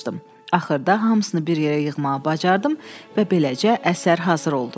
Axırda hamısını bir yerə yığmağı bacardım və beləcə əsər hazır oldu.